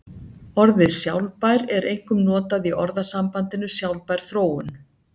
Orðið sjálfbær er einkum notað í orðasambandinu sjálfbær þróun.